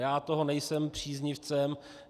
Já toho nejsem příznivcem.